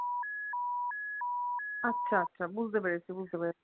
আচ্ছা আচ্ছা বুঝতে পেরেছি বুঝতে পেরেছি।